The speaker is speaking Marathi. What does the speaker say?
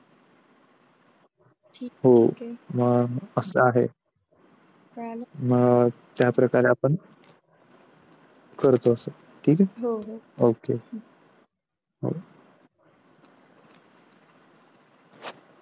ठीक आहे, मग त्या प्रकारे आपण करतो असं हो.